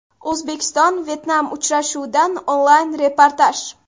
O‘zbekiston Vyetnam uchrashuvidan onlayn reportaj.